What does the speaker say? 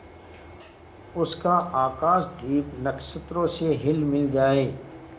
उसका आकाशदीप नक्षत्रों से हिलमिल जाए